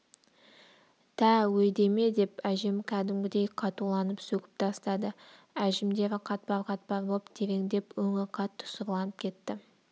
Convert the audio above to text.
тә өйдеме деп әжем кәдімгідей қатуланып сөгіп тастады әжімдері қатпар-қатпар боп тереңдеп өңі қатты сұрланып кетті